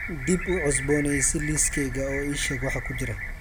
dib u cusboonaysii liiskayga oo ii sheeg waxa ku jira